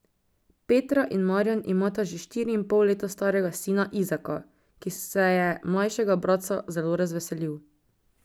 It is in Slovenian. Petra in Marjan imata že štiri in pol leta starega sina Izaka, ki se je mlajšega bratca zelo razveselil.